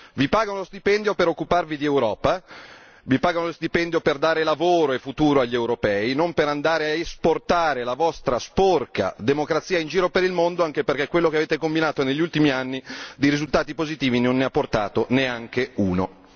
Vi pagano uno stipendio per occuparvi di Europa, vi pagano uno stipendio per dare lavoro e futuro agli europei, non per andare a esportare la vostra sporca democrazia in giro per il mondo, anche perché quello che avete combinato negli ultimi anni di risultati positivi non ne ha portato neanche uno.